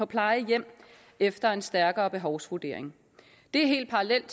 plejehjem efter en stærkere behovsvurdering det er helt parallelt